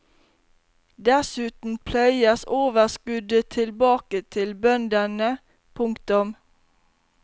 Dessuten pløyes overskuddet tilbake til bøndene. punktum